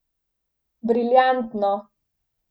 Briljantno!